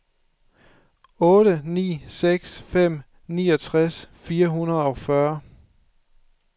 otte ni seks fem niogtres fire hundrede og fyrre